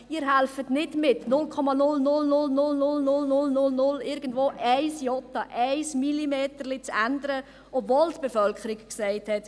Sie helfen nicht mit, um 0,000000 Prozent, um ein Jota, um einen Millimeter abzuweichen, obwohl die Bevölkerung gesagt hat: